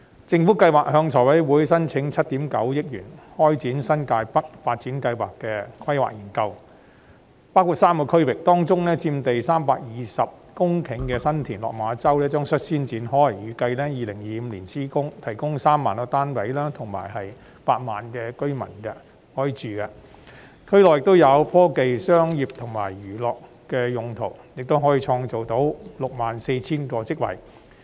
政府計劃向立法會財務委員會申請7億 9,000 萬元開展新界北發展項目的規劃研究，涵蓋3個區域，其中有關佔地320公頃的新田/落馬洲發展樞紐的工作將率先展開，預計2025年施工，可提供3萬個單位及容納8萬名居民入住，而區內亦有科技、商業及娛樂用地，可創造 64,000 個職位。